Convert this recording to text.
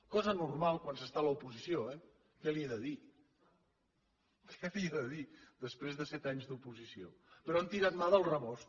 cosa normal quan s’està a l’oposició eh què li he de dir què li he de dir després de set anys d’oposició però han tirat mà del rebost